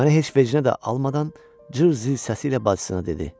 Mənə heç vecinə də almadan cır zil səsi ilə bacısına dedi: